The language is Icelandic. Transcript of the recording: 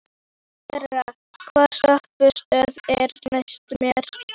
Sera, hvaða stoppistöð er næst mér?